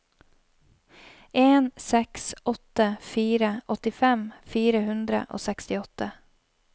en seks åtte fire åttifem fire hundre og sekstiåtte